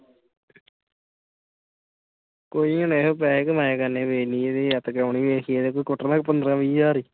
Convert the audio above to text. ਕੋਈ ਨੀ ਇਹੇ ਤੋਂ ਪੈਸੇ ਕਮਾਇਆ ਕਰਨੇ ਵੇਖਲੀ ਇਹਦੀ ਅੱਤ ਕਰਾਉਨੀ ਵੇਖੀ ਇਹਦੇ ਤੋਂ ਕੁੱਟਣਾ ਪੰਦਰਾਂ-ਵੀਹ ਹਜਾਰ।